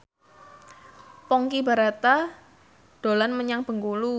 Ponky Brata dolan menyang Bengkulu